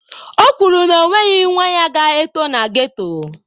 O kwuru na ọ nweghị nwa ya ga-eto na ghetto.